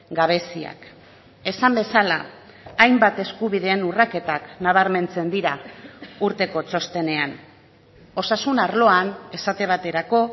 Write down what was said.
gabeziak esan bezala hainbat eskubideen urraketak nabarmentzen dira urteko txostenean osasun arloan esate baterako